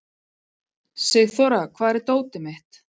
Sigþóra, hvar er dótið mitt?